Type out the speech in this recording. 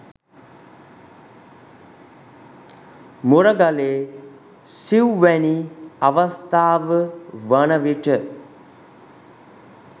මුරගලේ සිවුවැනි අවස්ථාව වන විට